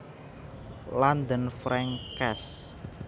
London Frank Cass